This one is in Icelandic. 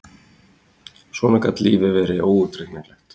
Svona gat lífið verið óútreiknanlegt!